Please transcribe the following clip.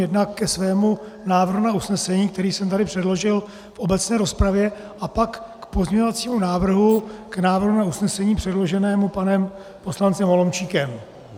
Jednak ke svému návrhu na usnesení, který jsem tady předložil v obecné rozpravě, a pak k pozměňovacímu návrhu k návrhu na usnesení předloženému panem poslancem Holomčíkem.